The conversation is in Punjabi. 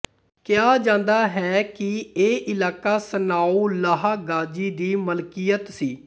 ਕਿਹਾ ਜਾਂਦਾ ਹੈ ਕਿ ਇਹ ਇਲਾਕਾ ਸਾਨਾਉੱਲਾਹ ਗ੍ਹਾਜ਼ੀ ਦੀ ਮਲਕੀਅਤ ਸੀ